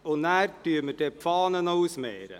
Danach werden wir auch noch die Fahne ausmehren.